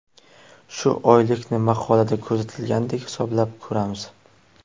Shu oylikni maqolada ko‘rsatilgandek hisoblab ko‘ramiz.